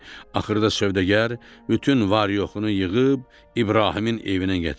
Axırda sövdəgər bütün var-yoxunu yığıb İbrahimin evinə gətirdi.